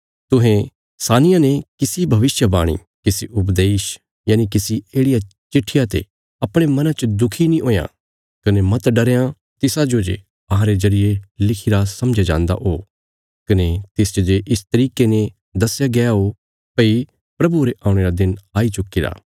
तुहें सानिया ने किसी भविष्यवाणी किसी उपदेश यनि किसी येढ़िया चिट्ठिया ते अपणे मना च दुखी नीं हुयां कने मत डरयां तिसाजो जे अहांरे जरिये लिखिरा समझया जान्दा हो कने तिसच जे इस तरिके ने दस्या गया हो भई प्रभुये रे औणे रा दिन आई चुक्कीरा